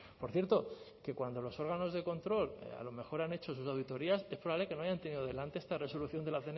por cierto que cuando los órganos de control a lo mejor han hecho sus auditorías es probable que no hayan tenido delante esta resolución de la